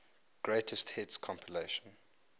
greatest hits compilation